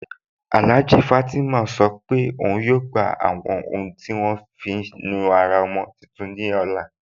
Alhájà Fátímà sọ́ pé ọun yóò gbà àwọn ọ̀hun tí à wọn fí nùárà ọ̀mọ̀ tuntun ní ọlá.